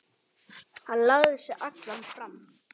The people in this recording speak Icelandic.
Hann lagði sig allan fram.